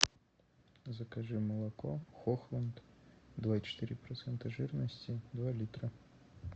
закажи молоко хохланд два и четыре процента жирности два литра